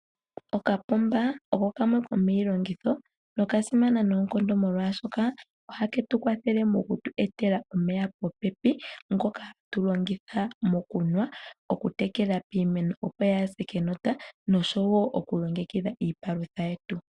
Okapomba oko kamwe komiilongitho noka simana noonkondo molwashoka oha ke tu kwathele mokutweetela omeya popepi ngoka hatu longitha mokunwa, okutekela piimeno opo yaa se kenota noshowo okulongekidha iipalutha yetu.